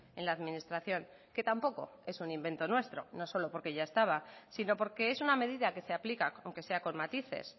en la administración que tampoco es un invento nuestro no solo porque ya estaba sino porque es una medida que se aplica aunque sea con matices